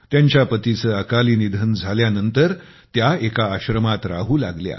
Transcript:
त्यांच्या पतीचे अकाली निधन झाल्यानंतर त्या एका आश्रमात राहू लागल्या